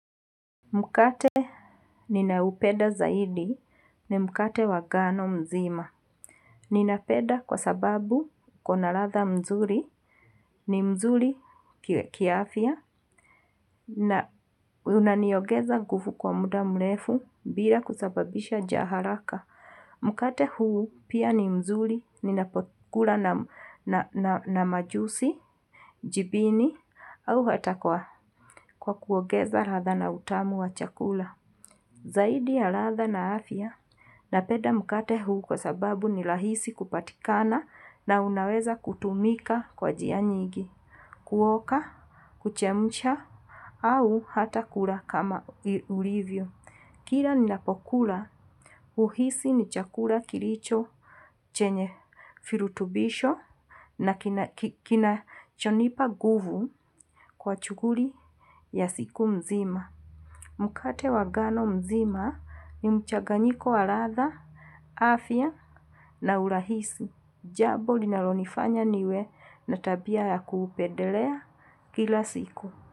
Mukate ninaupeda zaidi ni mkate wa gano mzima. Ninapeda kwa sababu uko na ladha mzuri. Ni mzuri kiafia na unaniogeza gufu kwa muda mlefu bila kusababisha jaharaka. Mukate huu pia ni mzuri ninapokula na majusi, jibini au hata kwa kuogeza radha na utamu wa chakula. Zaidi ya ladha na afya napeda mkate huu kwa sababu ni lahisi kupatikana na unaweza kutumika kwa jianyigi, kuoka, kuchemusha au hata kula kama ulivyo. Kira ninapokula uhisi ni chakula kilicho chenye firutubisho na kinachonipa guvu kwa chuguri ya siku mzima. Mukate wa gano mzima ni mchaganyiko wa ladha, afya na urahisi. Jabo linalonifanya niwe na tabia ya kuupedelea kila siku.